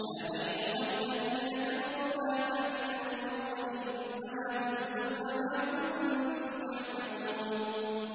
يَا أَيُّهَا الَّذِينَ كَفَرُوا لَا تَعْتَذِرُوا الْيَوْمَ ۖ إِنَّمَا تُجْزَوْنَ مَا كُنتُمْ تَعْمَلُونَ